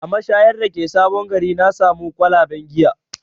A mashayar da ke sabon gari na samo kwalaben giya